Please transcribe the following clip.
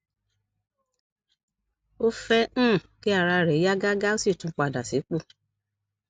o fẹ um kí ara rẹ yá gágá o sì tún padà sípò